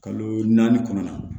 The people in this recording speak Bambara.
Kalo naani kɔnɔna na